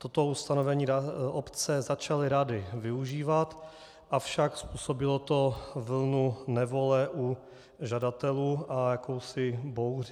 Toto ustanovení obce začaly rády využívat, avšak způsobilo to vlnu nevole u žadatelů a jakousi bouři.